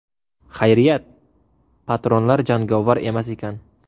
Xayriyat, patronlar jangovar emas ekan.